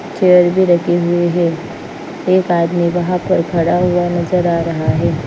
Chair भी रखी हुई है एक आदमी वहां पर खड़ा हुआ नजर आ रहा है।